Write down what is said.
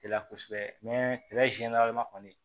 La kosɛbɛ kɔni